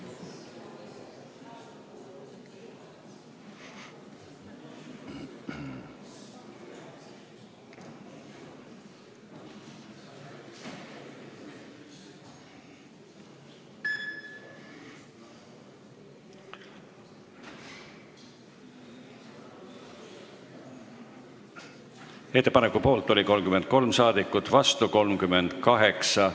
Hääletustulemused Ettepaneku poolt oli 33 saadikut, vastu 38.